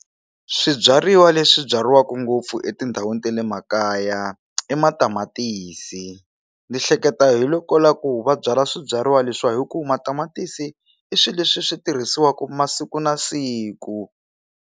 Swibyariwa leswi byariwaku ngopfu etindhawini ta le makaya i matamatisi ndzi hleketa hi loko ku la ku va byala swibyariwa leswiwa hi ku matamatisi i swilo leswi swi tirhisiwaka masiku na siku.